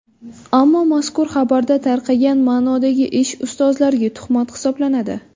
Ammo mazkur xabarda tarqagan ma’nodagi ish ustozlarga tuhmat hisoblanadi.